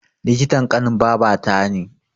Likitan ƙanin babata ne